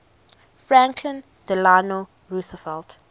franklin delano roosevelt